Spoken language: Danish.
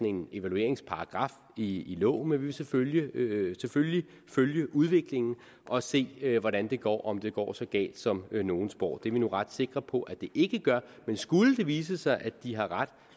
en evalueringsparagraf i loven men vi vil selvfølgelig følge følge udviklingen og se hvordan det går og om det går så galt som nogle spår det er vi nu ret sikre på at det ikke gør men skulle det vise sig at de har ret